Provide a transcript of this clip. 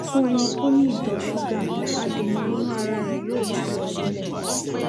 fún ẹni tó ní ìtọ ṣúgà adèǹà inú ara rẹ yóò ti lọ sílẹ